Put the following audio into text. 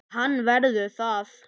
Hann verður það.